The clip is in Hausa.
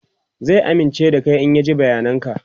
zai amince da Kai in ya ji bayanan ka